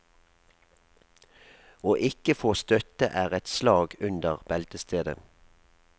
Å ikke få støtte er et slag under beltestedet.